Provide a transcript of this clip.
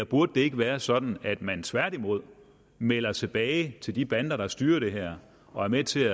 burde det ikke være sådan at man tværtimod melder tilbage til de bander der styrer det her og er med til